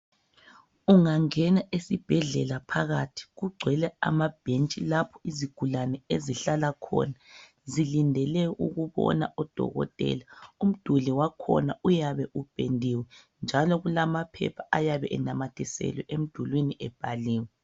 Ungangena esibhedlela phakathi kungcwele amabhentshi lapho izigulane ezihlala khona zilindele ukubona udokotela umduli wakhona uyabe upendiwe njalo kulamaphepha ayabe enamathiselwe emdulini ebhaliwe.